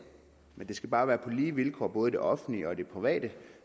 men det skal bare være på lige vilkår både i det offentlige og i det private